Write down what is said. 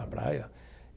À praia.